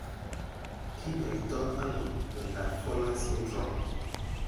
Kinyoito ano miondap Fowler's syndrome?